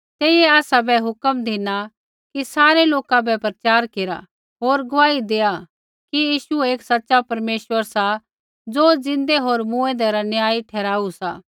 तेइयै आसाबै हुक्म धिना कि सारै लोका बै प्रचार केरा होर गुआही दैआत् कि यीशु ही एक सा ज़ो परमेश्वरै ज़िन्दै होर मूँऐंदै रा न्यायी ठहराऊ सा